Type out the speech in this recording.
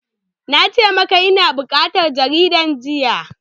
Na ce maka ina buƙatar jaridar jiya!